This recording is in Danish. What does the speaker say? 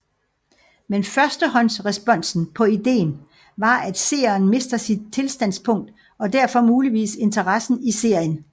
Men førstehåndsresponsen på idéen var at seeren mister sit tillidsstandpunkt og derfor muligvis interessen i serien